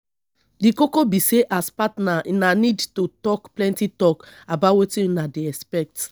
di koko be sey as partner una need to talk plenty talk about wetin una dey expect